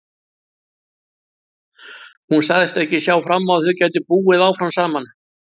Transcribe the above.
Hún sagðist ekki sjá fram á að þau gætu búið áfram saman.